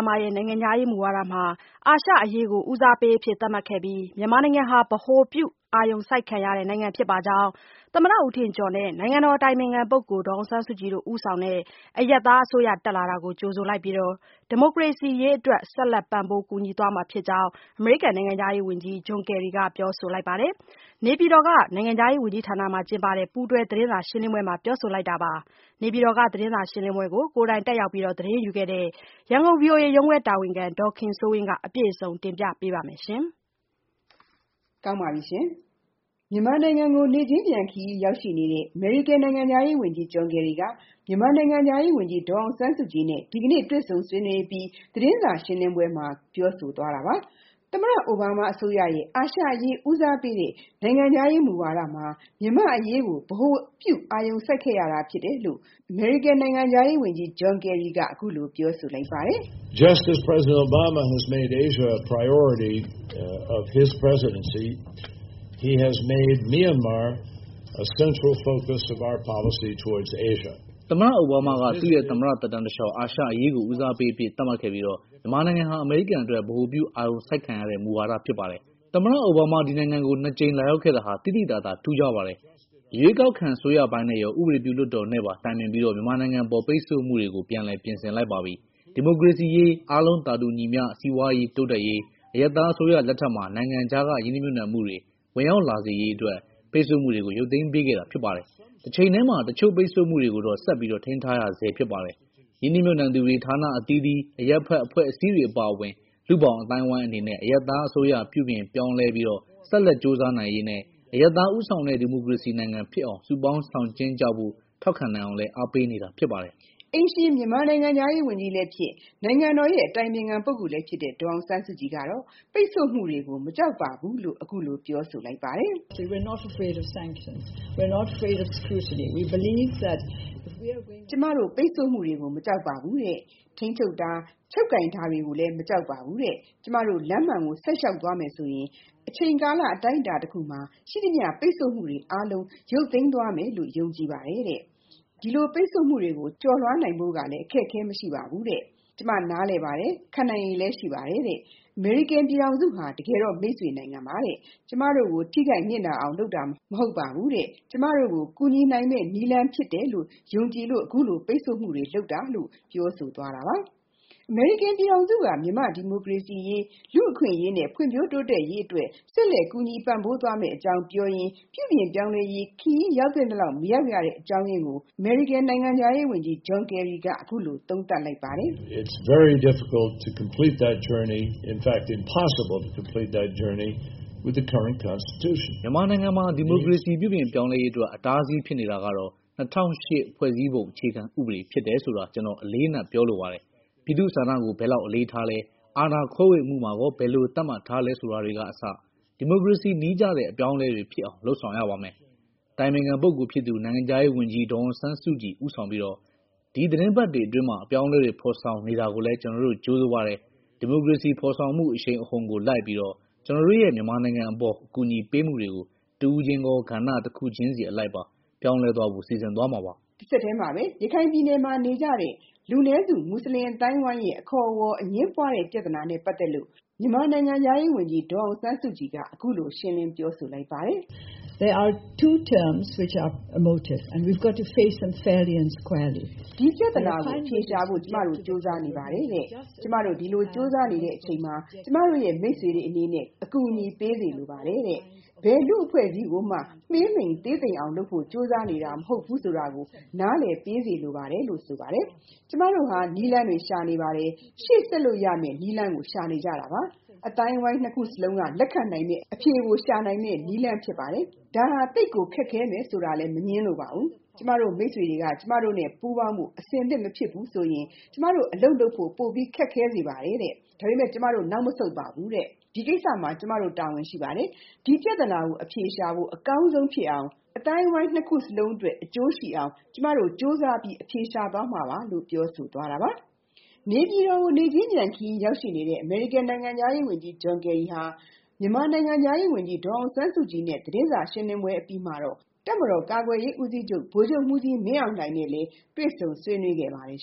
မားရဲ့ နိုင်ငံခြားရေးမူဝါဒမှာ အာရှအရေးကို ဦးစားပေးအဖြစ်သတ်မှတ်ခဲ့ပြီး မြန်မာနိုင်ငံဟာ ဗဟိုပြု အာရုံစိုက်ခဲ့ရတဲ့နိုင်ငံဖြစ်ပါကြောင်း၊ သမ္မတဦးထင်ကျော်နဲ့ နိုင်ငံတော်အတိုင်ပင်ခံပုဂ္ဂိုလ် ဒေါ်အောင်ဆန်းစုကြည်ဦးဆောင်တဲ့ အရပ်သားအစိုးရတက်လာတာကို ကြိုဆိုလိုက်ပြီး ဒီမိုကရေစီရေး အတွက် ဆက်လက်ပံ့ပိုးကူညီသွားမှာဖြစ်ကြောင်း အမေရိကန်နိုင်ငံခြားရေးဝန်ကြီး John Kerry က ပြောဆို လိုက်ပါတယ်။ နေပြည်တော်ရှိ နိုင်ငံခြားရေးဝန်ကြီးဌာနမှာ ကျင်းပတဲ့ ပူးတွဲသတင်းစာ ရှင်းလင်းပွဲမှာ ပြောဆိုလိုက်တာပါ။ သတင်းစာရှင်းလင်းပွဲကို ကိုယ်တိုင်တက်ခဲ့တဲ့ ဗွီအိုအေ ရန်ကုန်ရုံးခွဲတာဝန်ခံ ဒေါ်ခင်စိုး ဝင်းက တင်ပြထားပါတယ်။ မြန်မာနိုင်ငံကို နေ့ချင်းပြန်ခရီးရောက်နေတဲ့ အမေရိကန်နိုင်ငံခြားရေးဝန်ကြီး John Kerry က မြန်မာနိုင်ငံခြား ရေးဝန်ကြီး ဒေါ်အောင်ဆန်းစုကြည်နဲ့ ဒီကနေ့ တွေ့ဆုံဆွေးနွေးပြီး သတင်းစာရှင်းလင်းပွဲမှာ ပြောဆိုသွားတာပါ။ သမ္မတအိုဘားမားအစိုးရရဲ့ အာရှအရေး ဦးစားပေးတဲ့ နိုင်ငံခြားရေးမူဝါဒမှာ မြန်မာ့အရေးကို ဗဟိုပြု အာရုံစိုက် ခဲ့ရတာဖြစ်တယ်လို့ အမေရိကန်နိုင်ငံခြားရေးဝန်ကြီး John Kerry က အခုလိုပြောဆိုလိုက်ပါတယ်။ “သမ္မတအိုဘားမားက သူ့ရဲ့ သမ္မတသက်တမ်းတလျှောက် အာရှအရေးကို ဦးစားပေးအဖြစ်သတ်မှတ်ခဲ့ပြီး မြန်မာနိုင်ငံဟာ အမေရိကန်အတွက် ဗဟိုပြု အာရုံစိုက်ခဲ့ရတဲ့ မူဝါဒဖြစ်ပါတယ်။ သူဟာ ဒီနိုင်ငံကို ၂ ကြိမ်လာရောက်ခဲ့တာဟာ သိသိသာသာ ထူးခြားပါတယ်။ ရွေးကောက်ခံအစိုးရပိုင်းနဲ့ရော၊ ဥပဒေပြုလွှတ်တော်နဲ့ပါ တိုင်ပင်ပြီး မြန်မာနိုင်ငံအပေါ် ပိတ်ဆို့မှှုတွေ ကို ပြန်လည်ပြင်ဆင်လိုက်ပါပြီ။ ဒီမိုကရေစီရေး၊ အားလုံးသာတူညီမျှ စီးပွားရေးတိုးတက်ရေး၊ အရပ်သားအစိုးရ လက်ထက်မှာ နိုင်ငံခြားကရင်းနှီးမြှုပ်နှံမှုတွေ ဝင်ရောက်လာရေးအတွက် ပိတ်ဆို့မှုတွေကို ရုပ်သိမ်းပေးခဲ့တာ ဖြစ်ပါတယ်။ တချိန်တည်းမှာ တချို့ ပိတ်ဆို့မှုတွေကိုတော့ ဆက်ပြီး ထိန်းထားနေရဆဲဖြစ်ပါတယ်။ ရင်းနှီး မြှုပ်နှံသူတွေ၊ ဌာနအသီးသီး၊ အရပ်ဘက်အဖွဲ့အစည်းတွေအပါအဝင်၊ လူ့ဘောင်အသိုင်းအဝိုင်းအနေနဲ့ အရပ်သားအစိုးရ ပြုပြင်ပြောင်းလဲမှုဆက်လက်ကြိုးစားနိုင်ရေးနဲ့ အရပ်သား ဦးဆောင်တဲ့ ဒီမိုကရေစီနိုင်ငံဖြစ်အောင် စုပေါင်း ဆောင်ကြဉ်းကြဖို့ ထောက်ခံနိုင်အောင် အားပေး နေတာဖြစ်ပါတယ်။” အိမ်ရှင်မြန်မာနိုင်ငံခြားရေးဝန်ကြီးလည်းဖြစ် နိုင်ငံတော်အတိုင်ပင်ခံပုဂ္ဂိုလ် လည်းဖြစ်တဲ့ ဒေါ်အောင်ဆန်းစုကြည်ကတော့ ပိတ်ဆို့မှုတွေကို မကြောက်ပါဘူးလို့ အခုလိုပြောဆိုလိုက်ပါတယ်။ “ကျမတို့ပိတ်ဆို့မှုတွေကို မကြောက်ပါဘူး။ ထိန်းချုပ်တာ ချုပ်ကိုင်တာတွေကိုလည်းမကြောက်ပါဘူး။ ကျမတို့လမ်းမှန်ကို ဆက်လျှောက်သွားမယ်ဆိုရင် အချိန်ကာလအတိုင်းအတာတခုမှာ ရှိသမျှပိတ်ဆို့မှုတွေအားလုံး ရုပ်သိမ်းသွားမယ်လို့ ယုံကြည်ပါတယ်။ ဒီလိုပိတ်ဆို့မှုတွေကို ကျော်လွှားနိုင်ဖို့လည်း အခက်အခဲမရှိပါဘူး။ ကျမနားလည်ပါတယ်။ ခံနိုင်ရည်လည်းရှိပါတယ်။ အမေရိကန်ပြည်ထောင်စုဟာ တကယ်တော့ မိတ်ဆွေနိုင်ငံပါ။ ကျမတို့ကို ထိခိုက်နစ်နာအောင်လုပ်တာမဟုတ်ပါဘူး။ ကျမတို့ကို ကူညီနိုင်မယ့် နည်းလမ်းဖြစ်တယ်လို့ ယုံကြည်လို့ အခုလိုပိတ်ဆို့မှုတွေလုပ်တာပါ။” လို့ပြောဆိုသွားပါတယ်။ အမေရိကန်ပြည်ထောင်စုဟာ မြန်မာ့ဒီမိုကရေစီအရေး ၊ လူ့အခွင့်အရေးနဲ့၊ ဖွံ့ဖြိုးတိုးတက်ရေးအတွက် ဆက်လက်ကူညီပံ့ပိုးသွားမယ့်အကြောင်းပြောရင်း ပြုပြင်ပြောင်းလဲရေး ခရီးရောက်သင့်သလောက်မရောက်ရတဲ့ အကြောင်းအရင်းကို အမေရိကန်နိုင်ငံခြားရေးဝန်ကြီး John Kerry ကအခုလို သုံးသပ်လိုက်ပါတယ်။ “မြန်မာနိုင်ငံမှာ ဒီမိုကရေစီပြုပြင်ပြောင်းလဲရေးအတွက် အတားအဆီးဖြစ်နေတာကတော့ ၂၀၀၈ ဖွဲ့စည်းပုံအခြေခံဥပဒေဖြစ်တယ်ဆိုတာ ကျွန်တော် အလေးအနက်ပြောလိုပါတယ်။ ပြည်သူ့ဆန္ဒကို ဘယ်လောက်အလေးထားလဲ၊ အာဏာခွဲဝေမှုမှာကော ဘယ်လိုသတ်မှတ်ထားလဲဆိုတာတွေကစ ဒီမိုကရေစီနည်းကျတဲ့အပြောင်းအလဲတွေဖြစ်အောင် လုပ်ဆောင်ရပါမယ်။ အတိုင်ပင်ခံပုဂ္ဂိုလ်ဖြစ်သူ နိုင်ငံခြားရေဝန်ကြီး ဒေါ်အောင်ဆန်းစုကြည် ဦးဆောင်ပြီးတော့ ဒီသတင်းပတ်တွေအတွင်းမှာ အပြောင်းအလဲတွေ ဖော်ဆောင်နေတာကိုလည်း ကျွန်တော်တို့ ကြိုဆိုပါတယ်။ ဒီမိုကရေစီဖော်ဆောင်မှုအရှိန်အဟုန်ကိုလိုက်ပြီးတော့ ကျွန်တော်တို့ရဲ့ မြန်မာနိုင်ငံအပေါ် အကူအညီပေးမှုတွေကို တဦးချင်းကော ၊ ကဣတစ်ခုချင်းအလိုက်ပါ ပြောင်းလဲသွားဖို့ စီစဉ်သွားမှာပါ။” တဆက်ထဲမှာပဲ ရခိုင်ပြည်နယ်နေကြတဲ့ လူနည်းစု မူဆလင်အသိုင်းအဝိုင်းအခေါ်အဝေါ် အငြင်းပွားတဲ့ပြဿနာနဲ့ ပတ်သက်ပြီး မြန်မာနိုင်ငံခြားရေးဝန်ကြီးဒေါ်အောင်ဆန်းစုကြည်က အခုလိုရှင်းလင်းပြောဆိုလိုက်ပါတယ်။ “ဒီပြဿနာကို အဖြေရှာဖို့ ကျမတို့ကြိုးစားနေပါတယ်။ ကျမတို့ဒီလိုကြိုးစားနေတဲ့အချိန်မှာ ကျမတို့မိတ်ဆွေတွေအနေနဲ့ အကူအညီပေးစေလိုပါတယ်။ ဘယ်လူ့အဖွဲ့အစည်းကိုမှ မှေးမှိန်သေးသိမ်အောင်လုပ်ဖို့ကြိုးစားနေတာမဟုတ်ဘူးဆိုတာကို နားလည်ပေးစေလိုပါတယ်။ ကျမတို့ဟာ နည်းလမ်းတွေရှာနေပါတယ်။ ရှေ့ဆက်လို့ရမယ့် နည်းလမ်းကို ရှာနေကြတာပါ။ အသိုင်းအဝိုင်း ၂ ခုစလုံးက လက်ခံနိုင်မယ့် အဖြေကို ရှာနိုင်မယ့်နည်းလမ်း ဖြစ်ပါတယ်။ ဒါဟာ သိပ်ကို ခက်ခဲမယ်ဆိုတာလည်း မငြင်းလိုပါဘူး။ ကျမတို့မိတ်ဆွေတွေက ကျမတို့နဲ့ပူးပေါင်းဖို့ အဆင်သင့်မဖြစ်ဘူးဆိုရင် ကျမတို့အလုပ်လုပ်ဖို့ ပိုပြီးခက်ခဲစေပါတယ်။ ဒါပေမယ့် ကျမတို့ နောက်မဆုတ်ပါဘူး။ ဒီကိစ္စမှာ ကျမတို့ တာဝန်ရှိပါတယ်။ ဒီပြဿနာကို အဖြေရှာဖို့ အကောင်းဆုံးဖြစ်အောင် အသိုင်းအဝိုင်း၂ခုစလုံးအတွက် အကျိုးရှိအောင် ကျမတို့ကြိုးစားပြီးအဖြေရှာသွားမှာပါ။” လို့ပြောဆိုသွားတာပါ။ နေပြည်တော်ကို နေ့ချင်းပြန်ခရီးရောက်ရှိနေတဲ့ အမေရိကန်နိုင်ငံခြားရေးဝန်ကြီး John Kerry ဟာ မြန်မာနိုင်ငံခြားရေးဝန်ကြီး ဒေါ်အောင်ဆန်းစုကြည်နဲ့ သတင်းစာရှင်းလင်းပွဲအပြီးမှာတော့ တပ်မတော်ကာကွယ်ရေးဦးစီးချုပ် ဗိုလ်ချုပ်မှူးကြီး မင်းအောင်လှိုင် နဲ့လည်း တွေ့ဆုံဆွေးနွေးခဲ့ပါတယ်